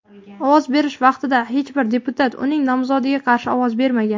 Ovoz berish vaqtida hech bir deputat uning nomzodiga qarshi ovoz bermagan.